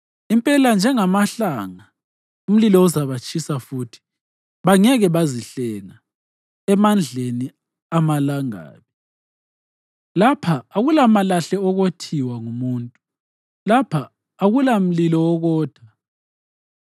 Impela banjengamahlanga; umlilo uzabatshisa futhi bangeke bazihlenga emandleni amalangabi. Lapha akulamalahle okothiwa ngumuntu; lapha akulamlilo wokotha.